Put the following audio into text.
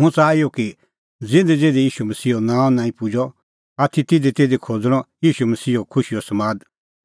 हुंह च़ाहा इहअ कि ज़िधीज़िधी ईशू मसीहो नांअ नांईं पुजअ आथी तिधीतिधी खोज़णअ ईशू मसीहो खुशीओ समाद